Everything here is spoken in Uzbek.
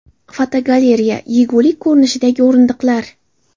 Fotogalereya: Yegulik ko‘rinishidagi o‘rindiqlar.